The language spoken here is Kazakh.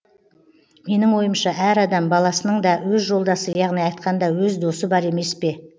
менің ойымша әр адам баласының да өз жолдасы яғни айтқанда өз досы бар емес пе